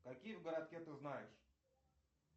какие в городке ты знаешь